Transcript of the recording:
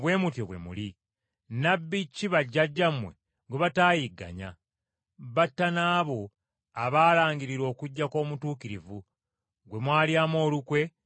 Nnabbi ki bajjajjammwe gwe bataayigganya? Batta n’abo abaalangirira okujja kw’Omutuukirivu, gwe mwalyamu olukwe ne mumutta.